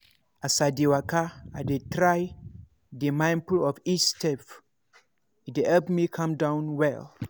as i dey waka i dey try dey mindful of each step — e dey help me calm down well.